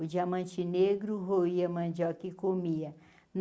O diamante negro roia a mandioca e comia.